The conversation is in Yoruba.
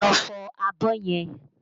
Lọ fọ abọ́ yẹn!